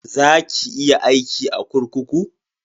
Za ki iya aiki a kurkuku?